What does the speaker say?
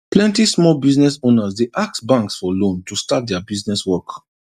plenty small business owners dey ask banks for loan to start their business work